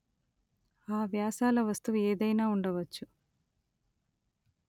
ఆ వ్యాసాల వస్తువు ఏదైనా ఉండవచ్చు